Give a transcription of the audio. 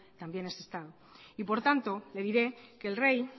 también es estado y por tanto le diré que el rey